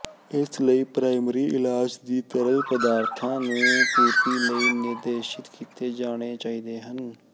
ਇਸ ਲਈ ਪ੍ਰਾਇਮਰੀ ਇਲਾਜ ਦੀ ਤਰਲ ਪਦਾਰਥਾਂ ਦੀ ਪੂਰਤੀ ਲਈ ਨਿਰਦੇਸ਼ਿਤ ਕੀਤੇ ਜਾਣੇ ਚਾਹੀਦੇ ਹਨ